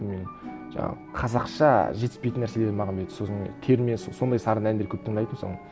менің жаңағы қазақша жетіспейтін нәрселерді маған берді сосын терме сондай сарынды әндер көп тыңдайтынмын соны